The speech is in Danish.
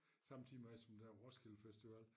Samtidig med som der var Roskilde Festival